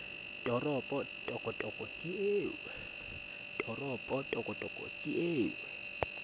toropo tokotoko ke eo o